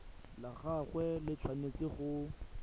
la gagwe le tshwanetse go